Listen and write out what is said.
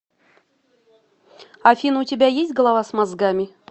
афина у тебя есть голова с мозгами